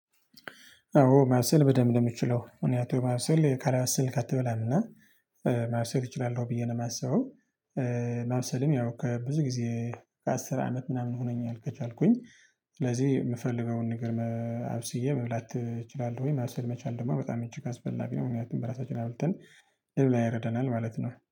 አዎ ማብሰል በደንብ ነው የምችለው እኔ አቶ ማብሰል ካለበሰልክ አትበላምና ማብሰል እችላለሁ ብዬ ነው የማስበው። ማብሰልም ያው ከብዙ ጊዜ ከአስር አመት ምናምን ሆኖኛል። ከቻልኩኝ ስለዚህ የምፈልገውን ንገር አብስዬ መብላት እችላለሁኝ። ማብሰል መቻል ደግሞ በጣም እጅግ አስፈላጊ ነው። ምክንያቱም በራሳችን አብልተን ይረዳናል ማለት ነው